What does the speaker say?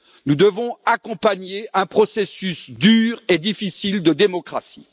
Nous devons accompagner un processus dur et difficile de démocratie.